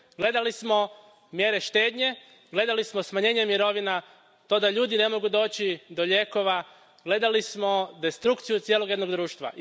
Gledali smo mjere štednje, gledali smo smanjenje mirovina, to da ljudi ne mogu doći do lijekova, gledali smo destrukciju cijelog jednog društva.